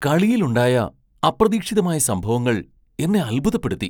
കളിയിൽ ഉണ്ടായ അപ്രതീക്ഷിതമായ സംഭവങ്ങൾ എന്നെ അത്ഭുതപ്പെടുത്തി.